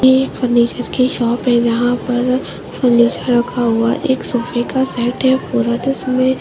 ये एक फर्नीचर की शॉप है जहाँ पर फर्नीचर रखा हुआ है एक सोफे का सेट है पूरा जिस में--